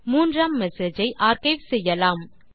மூன்றாம் மெசேஜ் ஐ ஆர்க்கைவ் செய்யலாம்